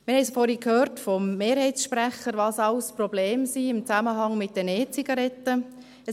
Wir haben es vorhin vom Mehrheitssprecher gehört, welche Probleme alle im Zusammenhang mit den E-Zigaretten bestehen.